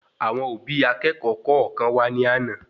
Àwọn òbí akékòó kọọkan wà ní àna